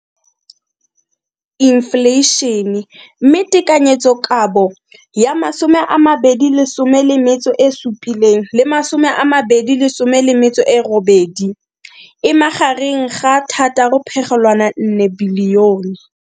Infleišene, mme tekanyetsokabo ya 2017 le 2018 e magareng ga R6.4 bilione.